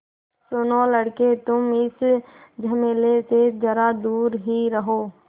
सुनो लड़के तुम इस झमेले से ज़रा दूर ही रहो